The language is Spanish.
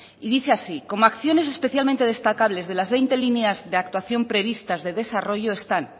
y dice así como acción especialmente destacables de las veinte líneas de actuación previstas de desarrollo están